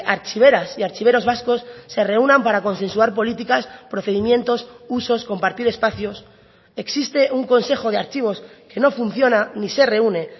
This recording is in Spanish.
archiveras y archiveros vascos se reúnan para consensuar políticas procedimientos usos compartir espacios existe un consejo de archivos que no funciona ni se reúne